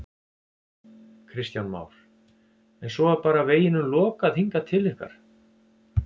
Kristján Már: En svo er bara veginum lokað hingað til ykkar?